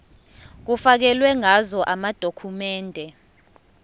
kufakelwe ngazo amadokhumende